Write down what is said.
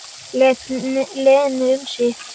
Lét Lenu um sitt.